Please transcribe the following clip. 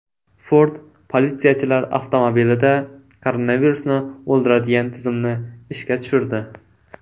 Ford politsiyachilar avtomobilida koronavirusni o‘ldiradigan tizimni ishga tushirdi.